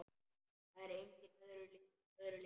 Það er engu öðru líkt.